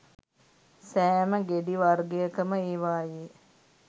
සෑම ගෙඩිවර්ගයකම ඒවායේ